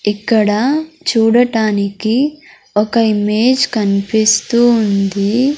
ఇక్కడ చూడటానికి ఒక ఇమేజ్ కనిపిస్తూ ఉంది.